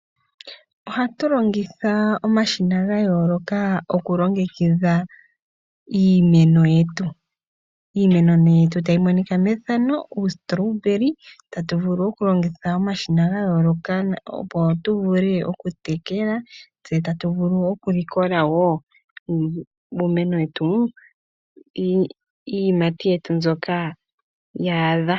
Ohatu longitha omashina ga yolokathana okulongekidha iimeno yetu .Iimeno nee mbika tayi monika methano Uustolobeli tatu vulu oku longitha omashina gayoloka opo tu vule oku tekela tse tatu vulu okulikola woo iiyiimati mboka ya adha.